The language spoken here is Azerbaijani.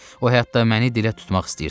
O hətta məni dilə tutmaq istəyirdi.